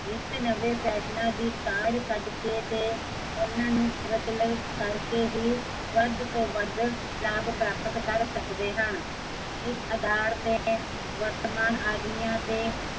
ਨਿੱਤ ਨਵੇ ਫੈਸ਼ਨਾ ਦੀ ਕਾਢ ਕੱਢ ਕੇ ਤੇ ਉਹਨਾਂ ਨੂ ਪ੍ਰਚਲ ਕਰਕੇ ਹੀਂ, ਲਾਭ ਪ੍ਰਾਪਤ ਕਰ ਸਕਦੇ ਹਨ ਇਸ ਅਧਾਰ ਤੇ, ਵਰਤਮਾਨ ਆਦਮੀਆ ਤੇ